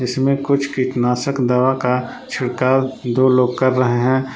इसमें कुछ किटनाशक दवा का छिड़काव दो लोग कर रहे हैं।